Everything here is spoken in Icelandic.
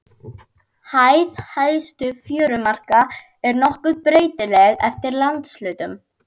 Hæð hæstu fjörumarka er nokkuð breytileg eftir landshlutum.